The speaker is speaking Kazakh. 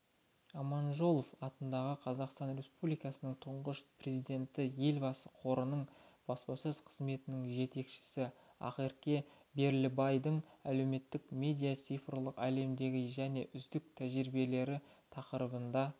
аманжолов атындағы қазақстан республикасының тұңғыш президенті елбасы қорының баспасөз қызметінің жетекшісі ақерке берлібайдың әлеуметтік медиа цифрлық әлемдегі және үздік тәжірибелері тақырыбында